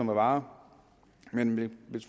varer men vi